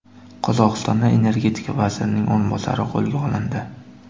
Qozog‘istonda energetika vazirining o‘rinbosari qo‘lga olindi.